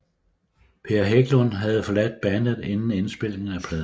Per Hägglund havde forladt bandet inden indspilningen af pladen